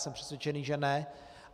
Jsem přesvědčen, že ne.